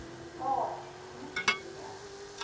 палач включи мне